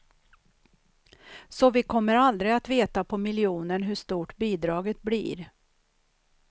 Så vi kommer aldrig att veta på miljonen hur stort bidraget blir.